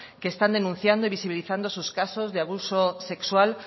que están denunciando y visibilizando esos casos de abuso sexual